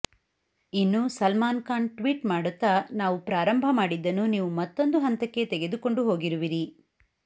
ಇನ್ನು ಸಲ್ಮಾನ್ ಖಾನ್ ಟ್ವೀಟ್ ಮಾಡುತ್ತಾ ನಾವು ಪ್ರಾರಂಭ ಮಾಡಿದ್ದನ್ನು ನೀವು ಮತ್ತೊಂದು ಹಂತಕ್ಕೆ ತೆಗದುಕೊಂಡು ಹೋಗಿರುವಿರಿ